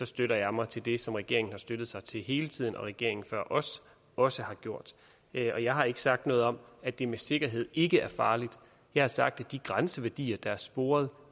støtter jeg mig til det som regeringen har støttet sig til hele tiden og som regeringen før os også har gjort og jeg har ikke sagt noget om at det med sikkerhed ikke er farligt jeg har sagt at de grænseværdier der er sporet